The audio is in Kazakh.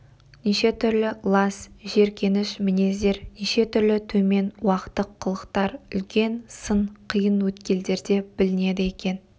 неше түрлі лас жеркеніш мінездер неше түрлі төмен уақтық қылықтар үлкен сын қиын өткелдерде білінеді екен